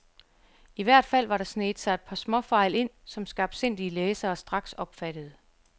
I hvert fald var der sneget sig et par småfejl ind, som skarpsindige læsere straks opfattede.